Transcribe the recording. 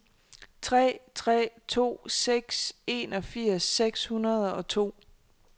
tre tre to seks enogfirs seks hundrede og to